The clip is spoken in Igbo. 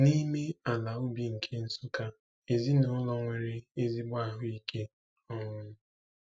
N'ime ala ubi nke Nsukka, ezinaụlọ nwere ezigbo ahụ ike. um